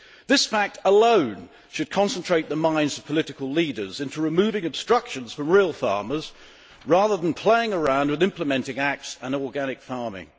This fact alone should concentrate the minds of political leaders into removing obstructions for real farmers, rather than playing around with implementing acts and organic farming.